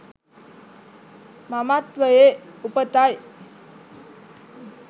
මමත්වයේ උපතයි.